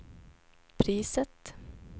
priset